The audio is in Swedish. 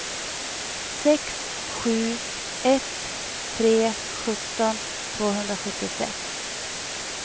sex sju ett tre sjutton tvåhundrasjuttiosex